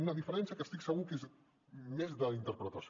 una diferència que estic segur que és més d’interpretació